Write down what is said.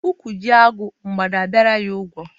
Ụkwụ jie agụ, mgbada abịara ya ụgwọ.